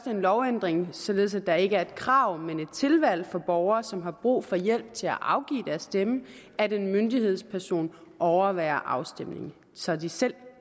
er en lovændring således at der ikke er et krav men et tilvalg for borgere som har brug for hjælp til at afgive deres stemme af at en myndighedsperson overværer afstemningen så de selv